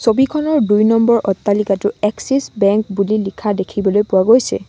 ছবিখনৰ দুই নম্বৰ অট্টালিকাটো এক্সিচ বেংক বুলি লিখা দেখিবলৈ পোৱা গৈছে।